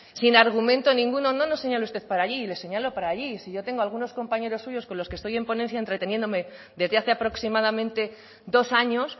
sin argumento ninguno no nos señale usted para allí le señalo para allí si yo tengo algunos compañeros suyos con los que estoy en ponencia entreteniéndome desde hace aproximadamente dos años